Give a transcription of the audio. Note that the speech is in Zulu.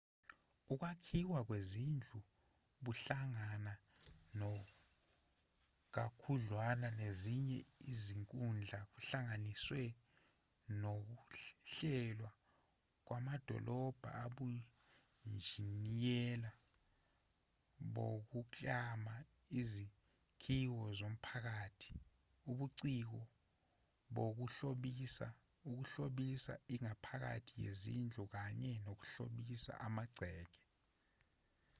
ukwakhiwa kwezindlu buhlangana kakhudlwana nezinye izinkundla kuhlanganise nokuhlelwa kwamadolobha ubunjiniyela bokuklama izakhiwo zomphakathi ubuciko bokuhlobisa ukuhlobisa ingaphakathi lezindlu kanye nokuhlobisa amagceke